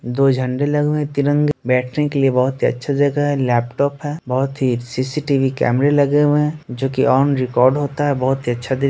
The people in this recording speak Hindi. दो झंडे लगे हुए हैं तिरंगे बैठने के लिए बहुत ही अच्छा जगह है लैपटॉप है बहुत ही सी.सी.टी.वी. कैमरे लगे हुए हैं जो कि ऑन रिकॉर्ड होता हैं बहुत ही अच्छा